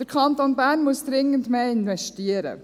Der Kanton Bern muss dringend mehr investieren.